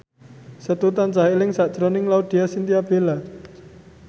Setu tansah eling sakjroning Laudya Chintya Bella